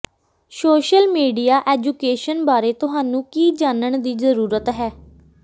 social media education ਬਾਰੇ ਤੁਹਾਨੂੰ ਕੀ ਜਾਣਨ ਦੀ ਜ਼ਰੂਰਤ ਹੈ